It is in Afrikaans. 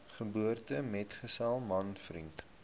geboortemetgesel man vriend